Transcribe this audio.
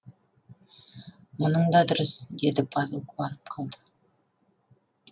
мұның да дұрыс деді павел қуанып қалды